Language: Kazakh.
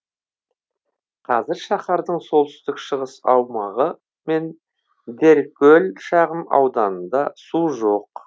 қазір шаһардың солтүстік шығыс аумағы мен деркөл шағын ауданында су жоқ